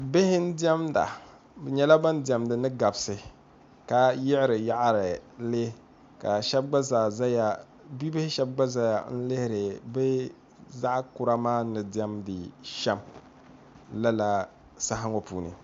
Bihi n-diɛmda bɛ nyɛla ban diɛmdi ni gabisi ka yiɣiri yaɣiri li ka bibihi shɛba gba zaa zaya n-lihiri zaɣ' kura maa ni diɛmdi shɛm lala saha ŋɔ puuni